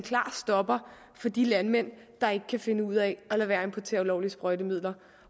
stopper for de landmænd der ikke kan finde ud af at lade være med at importere ulovlige sprøjtemidler